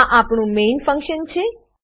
આ આપણું main function છે